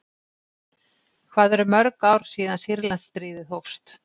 Hvað eru mörg ár síðan Sýrlandsstríðið hófst?